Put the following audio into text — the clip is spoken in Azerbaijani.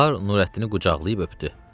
Bahar Nurəddini qucaqlayıb öpdü.